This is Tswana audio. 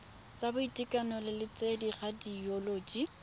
tsa boitekanelo le tsa radioloji